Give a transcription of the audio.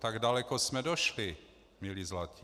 Tak daleko jsme došli, milí zlatí.